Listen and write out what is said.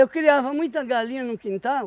criava muita galinha no quintal,